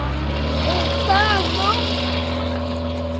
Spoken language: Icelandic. En veit það nokkur?